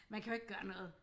Man kan jo ikke gøre noget